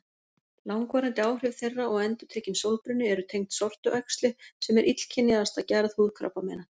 Langvarandi áhrif þeirra og endurtekinn sólbruni eru tengd sortuæxli sem er illkynjaðasta gerð húðkrabbameina.